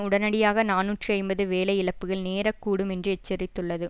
உடனடியாக நாநூற்று ஐம்பது வேலை இழப்புகள் நேர கூடும் என்று எச்சரித்துள்ளது